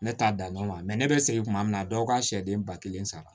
Ne t'a dan dɔn ma ne bɛ segin tuma min na dɔw ka sɛden ba kelen sara